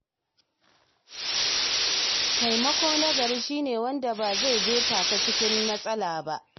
Taimako na gari shi ne wanda ba zai jefa ka cikin matsala ba.